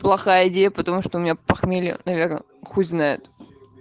плохая идея потому что у меня похмелье наверное хуй знает